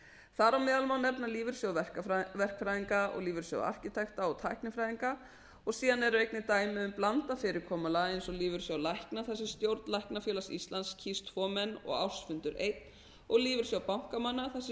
þar á meðal má nefna lífeyrissjóð verkfræðinga og lífeyrissjóð arkitekta og tæknifræðinga og síðan eru einnig eru dæmi um blandað fyrirkomulag eins og lífeyrissjóð lækna þar sem stjórn læknafélags íslands kýs tvo menn og ársfundur einn og lífeyrissjóð bankamanna þar sem